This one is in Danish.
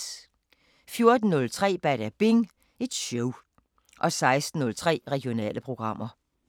14:03: Badabing Show 16:03: Regionale programmer